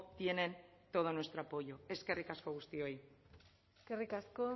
tienen todo nuestro apoyo eskerrik asko guztioi eskerrik asko